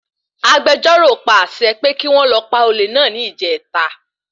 Agbejọ́rò pa àṣẹ pé kí wọ́n lọ pa olé náà ní ìjèta